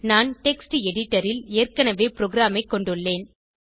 நான் text editor ல் ஏற்கனவே ப்ரோகிராமைக் கொண்டுள்ளேன்